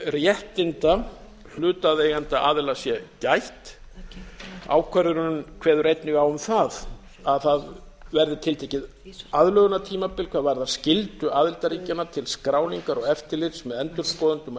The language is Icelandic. réttinda hlutaðeigandi aðila sé gætt ákvörðunin kveður einnig á um það að það verði tiltekið aðlögunartímabil hvað varðar skyldu aðildarríkjanna til skráningar og eftirlits með endurskoðendum og